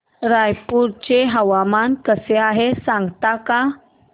रायपूर चे हवामान कसे आहे सांगता का